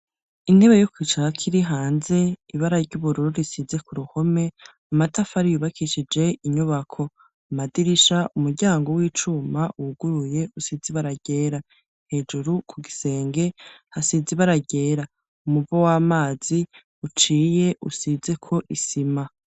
Intebe yo kwicarako iri hanze, ibara ry'ubururu risize ku ruhome, amatafari yubakishije inyubako, amadirisha, umuryango w'icuma wuguruye usize ibara ryera, hejuru ku gisenge hasize ibara ryera, umuvo w'amazi uciye usizeko isima.